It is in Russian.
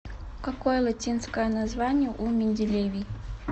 какой латинское название у менделевий